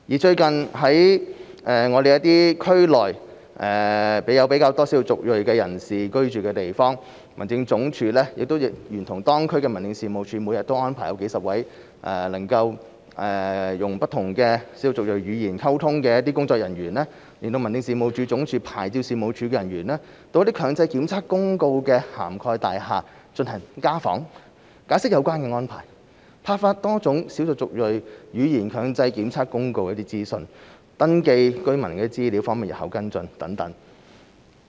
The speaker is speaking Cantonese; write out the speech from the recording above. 最近在區內有較多少數族裔人士居住的地方，民政事務總署亦聯同當區民政事務處，每天安排數十位能操不同少數族裔語言溝通的工作人員，聯同民政事務總署牌照事務處人員，到強制檢測公告涵蓋的大廈做家訪，解釋有關安排，派發多種少數族裔語言強制檢測公告的一些資訊，登記居民資料方便事後跟進等。